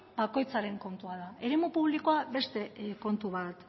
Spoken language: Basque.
bakoitzaren kontua da eremu publikoa beste kontu bat